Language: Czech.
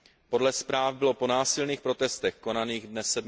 Podle zpráv bylo po násilných protestech konaných dne